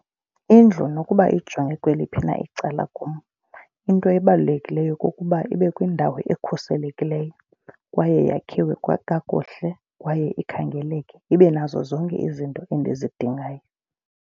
Indlu nokuba ijonge kweliphi na icala kum into ebalulekileyo kukuba ibe kwindawo ekhuselekileyo kwaye yakhiwe kakuhle kwaye ikhangeleke ibe nazo zonke izinto endizidingayo.